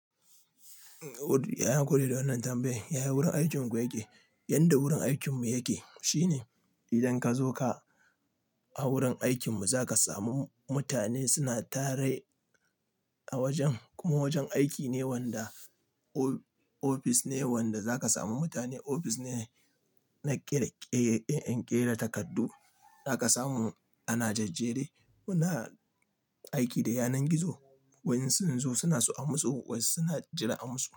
Ya yi hakuri da wannan tambayan yaya wurin aikinku yake? Yanda wurin aikinmu yake shine idan ka zo ka a wurin aikinmu za ka samu mutane suna tare a wajen. Kuma wajen aiki ne wanda ofis ne wanda za ka samu mutane. Ofis ne na ƙera ƙere, in ƙera takardu za ka samu ana jajjere muna aiki da yanar gizo. Wayansu sun zo suna so a musu wasu suna jira a musu.